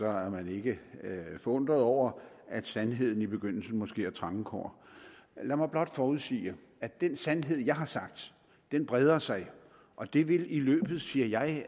er man ikke forundret over at sandheden i begyndelsen måske har trange kår lad mig blot forudsige at den sandhed jeg har sagt breder sig og det vil i løbet af siger jeg